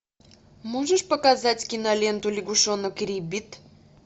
можешь показать киноленту лягушонок риббит